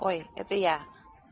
ой это я